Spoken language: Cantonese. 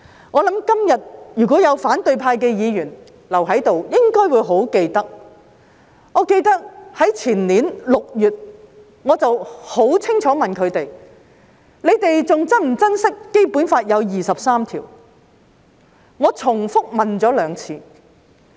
我相信，今天如果有反對派留在議會，他們應該記得，我也記得，在前年6月，我曾清楚地問他們是否還珍惜《基本法》有第二十三條，我重複問了兩次。